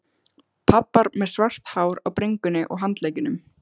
Pabbar með svart hár á bringunni og handleggjunum.